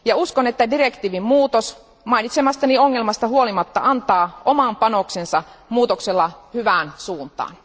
Uskon, että direktiivin muuttaminen, mainitsemastani ongelmasta huolimatta, antaa oman panoksensa muutoksella hyvään suuntaan.